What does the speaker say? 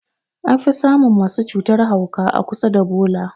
An fi samun masu cutan mahauka a kusa da bola.